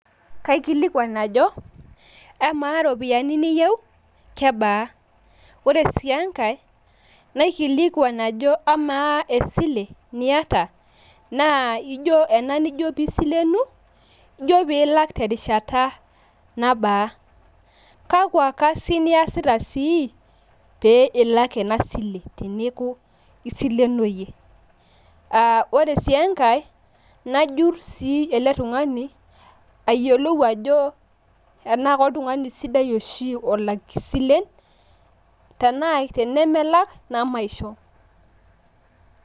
Kaikilikuan ajo amaa ropiyiani niyieu kebaa. Ore sii enkae naikilikuan ajo amaa esile niayata naa ijo , ena nijo pee isilenu ijo pee ilak terishata nabaa. Kakwa kasin iyasita sii pee ilak ena sile teneaku isilenoyie. Aah ore sii enkae najurr sii ele tung`ani ayiolou ajo tenaa koltung`ani sidai oshi olak isilen, tenaa tenemelak nemaisho.